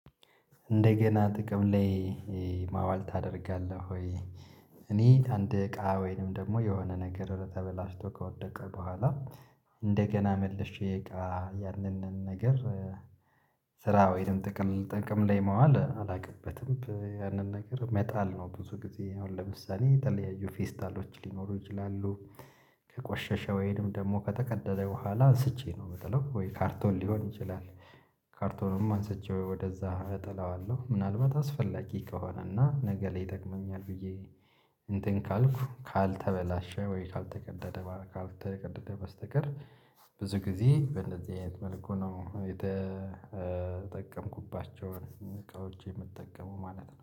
እንደገና ጥቅም ላይ ማዋል ታደርጋለህ ወይ? እኔ አንድ እቃ ወይንም ደግሞ የሆነ ነገር ተበላሽቶ ከወደቀ በኋላ እንደገና መልሼ ያንን ነገር ስራ ወይንም ጥቅም ላይ መዋል አላውቅበትም። ያንን ነገር መጣል ነው ብዙ ጊዜ አሁን ለምሳሌ የተለያዩ ፌስታሎች ሊኖሩ ይችላሉ። ከቆሸሸ ወይም ደግሞ ከተቀደደ በኋላ አንስቼ ነው የምጠለው ወይ ካርቶን ሊሆን ይችላል። ካርቶንም አንስቼ ወይ ወደዛ እጠላዋለሁ ምናልባት አስፈላጊ ከሆነ እና ነገ ላይ ይጠቅመኛል ብዬ እንትን ካልኩ ካልተበላሸ ወይ ካልተቀደደ ካልተቀደደ በስተቀር። ብዙ ጊዜ በእንደዚህ አይነት መልኩ ነው የተጠቀምኩባቸውን እቃዎች የምጠቀመው ማለት ነው